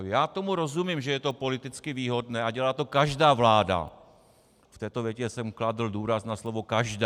Já tomu rozumím, že je to politicky výhodné, a dělá to každá vláda, v této větě jsem kladl důraz na slovo každá.